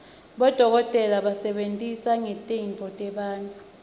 bodokotela basebenta ngetitfo tebantfu